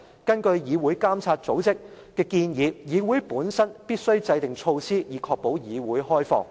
根據"議會監督組織"的建議，議會本身必須制訂措施，以確保議會開放。